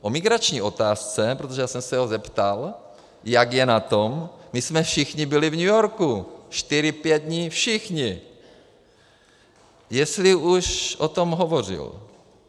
O migrační otázce, protože já jsem se ho zeptal, jak je na tom, my jsme všichni byli v New Yorku čtyři pět dní, všichni, jestli už o tom hovořil.